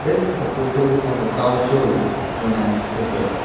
This is a photo of a car showroom known as lexus.